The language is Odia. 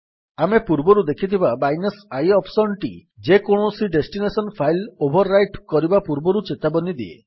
ଆମେ ପୂର୍ବରୁ ଦେଖିଥିବା -i ଅପ୍ସନ୍ ଟି ଯେକୌଣସି ଡେଷ୍ଟିନେସନ୍ ଫାଇଲ୍ ଓଭର୍ ରାଇଟ୍ କରିବା ପୂର୍ବରୁ ଚେତାବନୀ ଦିଏ